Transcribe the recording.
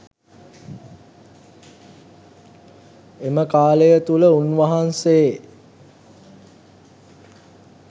එම කාලය තුළ උන්වහන්සේ